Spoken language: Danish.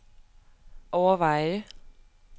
overveje